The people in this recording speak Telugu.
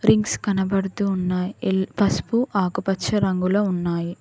రింగ్స్ కనబడుతు ఉన్నాయ్ ఎల్ పసుపు ఆకుపచ్చ రంగులో ఉన్నాయి.